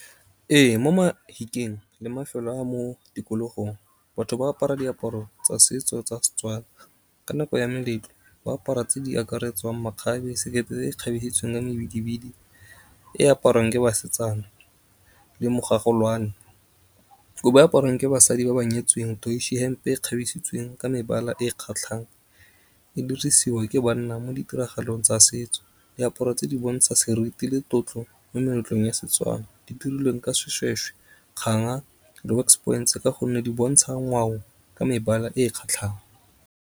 Ee, mo Mahikeng le mafelo a mo tikologong batho ba apara diaparo tsa setso tsa Setswana. Ka nako ya meletlo, ba apara tse di akaretswang makgabe, sekete, se se kgabetleletsweng ka mebididi. E aparwang ke basetsana, le , kobo e aparwang ke basadi ba ba nyetsweng, hempe e besitsweng ka mebala e kgatlhang e dirisiwa ke banna mo ditiragalong tsa setso diaparo tse di bontsha seriti le tlotlo mo meletlong ya Setswana. Di dirilweng ka seshweshwe, kganga le ka gonne di bontsha ngwao ka mebala e kgatlhang.